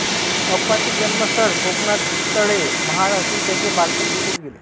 अप्पांचे जन्मस्थळ कोकणातळे महाड असून त्यांचे बालपण तेथेच गेले